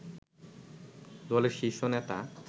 দলের শীর্ষ নেতা